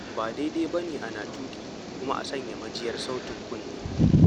Ba daidai ba ne ana tuƙi kuma a sanya majiyar sautin kunne.